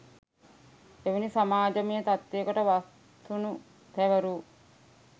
එවැනි සමාජමය තත්ත්වයකට වත්සුණු තැවරූ